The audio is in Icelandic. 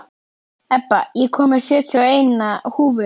Ebba, ég kom með sjötíu og eina húfur!